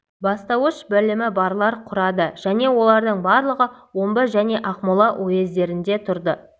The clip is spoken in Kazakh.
бастауыш білімі барлар құрады және олардың барлығы омбы және ақмола уездерінде тұрды